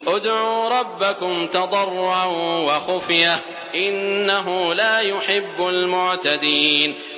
ادْعُوا رَبَّكُمْ تَضَرُّعًا وَخُفْيَةً ۚ إِنَّهُ لَا يُحِبُّ الْمُعْتَدِينَ